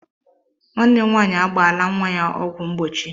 Nwanne m nwaanyị agbaala nwa ya ọgwụ mgbochi.